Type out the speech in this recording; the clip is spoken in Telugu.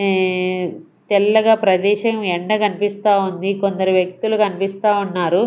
ఈ తెల్లగా ప్రదేశం ఎండ కనిపిస్తా ఉంది కొందరు వ్యక్తులు కనిపిస్తా ఉన్నారు.